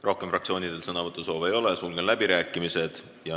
Rohkem fraktsioonidel sõnavõtusoove ei ole, sulgen läbirääkimised.